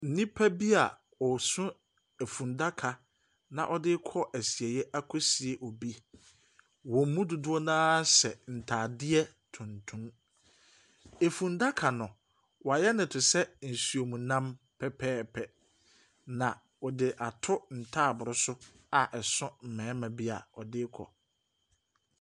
Nnipa bi a wɔso efundaka na wɔde rekɔ asieɛ akɔsie obi. Wɔn mu dodoɔ no ara hyɛ ntaadeɛ tuntum. Fundaka no, wɔayɛ no te sɛ nam pɛpɛɛpɛ. Na wɔde ato ntaabolo so a so mmarima bi a wɔde rekɔ.